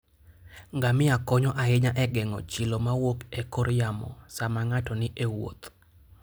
Ngamia konyo ahinya e geng'o chilo mawuok e kor yamo sama ng'ato ni e wuoth.